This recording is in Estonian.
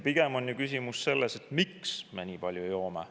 Pigem on küsimus selles, miks me nii palju joome.